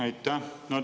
Aitäh!